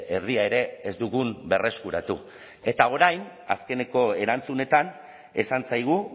erdia ere ez dugun berreskuratu eta orain azkeneko erantzunetan esan zaigu